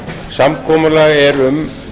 samkomulag er um